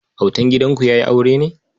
Autan gidanku ya yi aure ne?